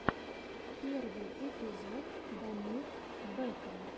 первый эпизод дамир бэкам